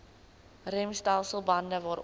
remstelsel bande waaronder